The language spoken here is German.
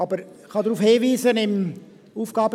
Aber ich kann auf Folgendes hinweisen: